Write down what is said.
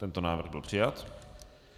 Tento návrh byl přijat.